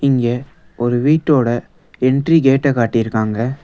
இங்க ஒரு வீட்டோட என்ட்ரி கேட்ட காட்டிருக்காங்க.